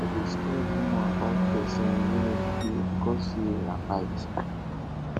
no go spread rumor about pesin wey wey no be true becos say una fight